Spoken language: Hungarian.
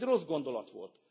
Ez egy rossz gondolat volt.